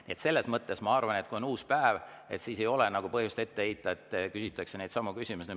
Nii et selles mõttes ma arvan, et kui on uus päev, siis ei ole põhjust ette heita, et küsitakse neidsamu küsimusi.